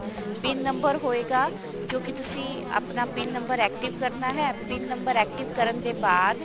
PIN number ਹੋਏਗਾ ਜੋ ਕੀ ਤੁਸੀਂ ਆਪਣਾ PIN ਨੰਬਰ active ਕਰਨਾ ਹੈ PIN ਨੰਬਰ active ਕਰਨ ਦੇ ਬਾਅਦ